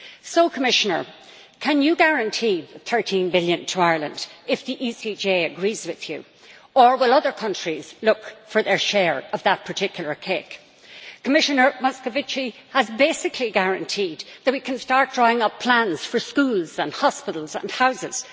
So, Commissioner, can you guarantee the EUR 13 billion to Ireland if the ECJ agrees with you? Or will other countries look for their share of that particular cake? Commissioner Moscovici has basically guaranteed that we can start drawing up plans for schools and hospitals and houses